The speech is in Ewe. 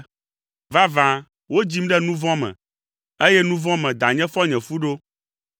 Vavã, wodzim ɖe nu vɔ̃ me, eye nu vɔ̃ me danye fɔ nye fu ɖo.